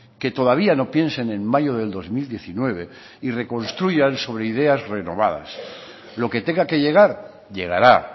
que todavía no piensen en mayo del dos mil diecinueve y reconstruyan sobre ideas renovadas lo que tenga que llegar llegará